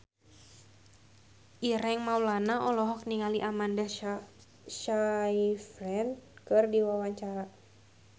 Ireng Maulana olohok ningali Amanda Sayfried keur diwawancara